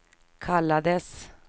kallades